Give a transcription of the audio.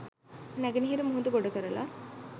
නැගෙනහිර මුහුද ගොඩ කරලා